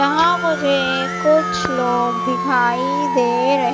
यहां मुझे कुछ लोग दिखाई दे रहे--